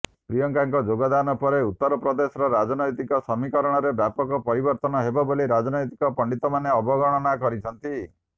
ପ୍ରିୟଙ୍କାଙ୍କ ଯୋଗଦାନ ପରେ ଉତ୍ତର ପ୍ରଦେଶର ରାଜନୈତିକ ସମୀକରଣରେ ବ୍ୟାପକ ପରିବର୍ତ୍ତନ ହେବ ବୋଲି ରାଜନୈତିକ ପଣ୍ଡିତମାନେ ଅବଗଣନା କରିଛନ୍ତି